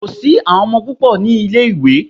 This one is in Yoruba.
Kò sí àwọn ọmọ púpò ní ilé ìwé.